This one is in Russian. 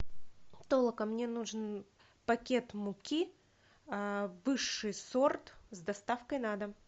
толока мне нужен пакет муки высший сорт с доставкой на дом